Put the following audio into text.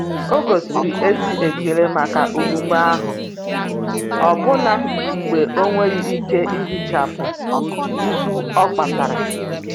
ogosiri ezi ekele maka omume ahụ, ọbụna mgbe ọ nweghị ike ihichapụ mgbu ọ kpatara.